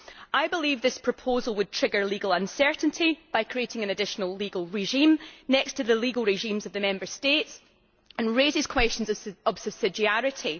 I believe this proposal would trigger legal uncertainty by creating an additional legal regime next to the legal regimes of the Member States, and raises questions of subsidiarity.